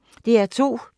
DR P2